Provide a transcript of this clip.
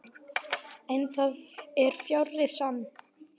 En það er fjarri sanni.